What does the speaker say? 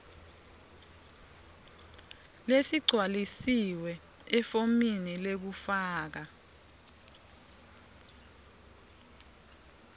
lesigcwalisiwe efomini lekufaka